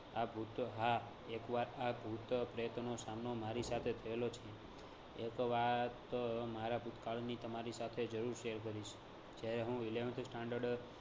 આ ભૂત હા એક વાત આ ભૂત પ્રેતનો સામનો મારી સાથે થયેલો છે. એક વાત મારા ભૂતકાળની તમારી સાથે જરૂર share કરીશ. જયારે હું eleventh standard